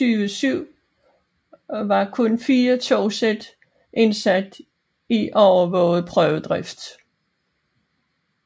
I 2007 var kun fire togsæt indsat i overvåget prøvedrift